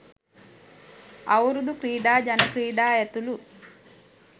අවුරුදු ක්‍රීඩා ජන ක්‍රීඩා ඇතුළු